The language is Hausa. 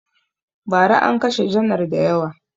Ba ra an kashe janar da yawa